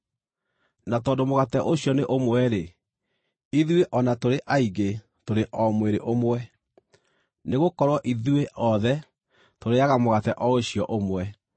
Na tondũ mũgate ũcio nĩ ũmwe-rĩ, ithuĩ, o na tũrĩ aingĩ, tũrĩ o mwĩrĩ ũmwe, nĩgũkorwo ithuĩ othe tũrĩĩaga mũgate o ũcio ũmwe.